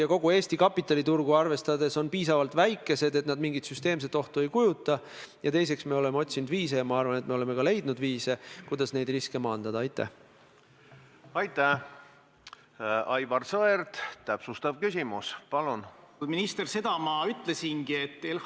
Ja kuigi teil on praegu vaja suure huviga SMS-e lugeda ja Riigikogu liikmete küsimusi aega kuulata ei ole, on ikkagi häiriv see, et oleme siin Riigikogu saalis pidanud tegelema sellega, miks Euroopa Liidu lipud ei võiks kogu aeg Valges saalis seista, samal ajal kui okupatsiooniaegsete maaeluministrite või põllumajandusministrite piltide tagasipanekut kohtleb peaminister üsna hellalt.